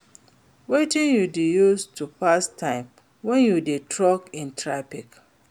Wetin you dey use to pass time when you dey stuck in traffic?